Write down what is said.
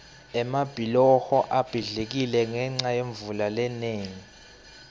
emabhuloho abhidlikile ngenca yemvula lenengi